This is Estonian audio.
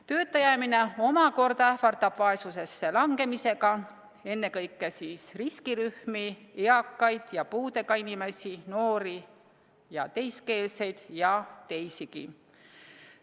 Tööta jäämine omakorda ähvardab vaesusesse langemisega ennekõike riskirühmi, eakaid ja puudega inimesi, noori ja muukeelseid ning teisigi.